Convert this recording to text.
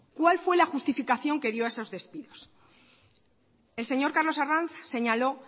cuál fue la justificación que dio a esos despidos el señor carlos arranz señaló